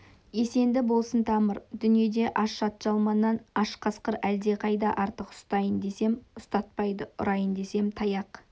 есінде болсын тамыр дүниеде аш атжалманнан аш қасқыр әлдеқайда артық ұстайын десем ұстатпайды ұрайын десем таяқ